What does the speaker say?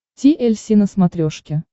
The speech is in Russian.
ти эль си на смотрешке